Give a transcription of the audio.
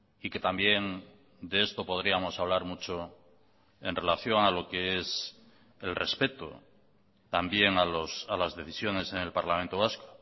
y que también de esto podríamos hablar mucho en relación a lo que es el respeto también a las decisiones en el parlamento vasco